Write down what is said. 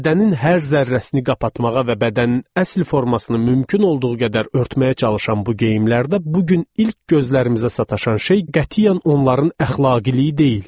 Bədənin hər zərrəsini qapatmağa və bədənin əsl formasını mümkün olduğu qədər örtməyə çalışan bu geyimlərdə bu gün ilk gözlərimizə sataşan şey qətiyyən onların əxlaqiliyi deyil.